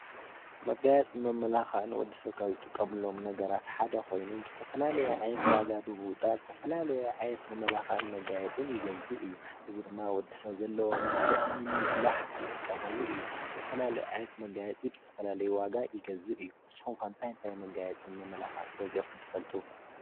መጋየፅን መማላኽዕን ወዲ ሰብ ካብ ዝጥቀመሎም ነገራት ሓደ ኮይኑ ብዝተፈላለየ ዓይነት ዋጋ ብምውፃእ ዝተፈላለየ ዝተፈላለየ ዓይነት መመላክዕን መጋየፅን ይገዝእ እዩ። እዚ ድማ ወዲ ሰብ ዘለዎ መልክዕ ንምጉላህ ዝጥቀመሉ እዩ። ዝተፈላለየ መጋየፂ ዝተፈላለየ ዋጋ ይገዝእ እዩ። ንስኩም ከ እንታይ እንታይ መጋየፅን መመላክዕን ገዚኢኩም ትፈልጡ?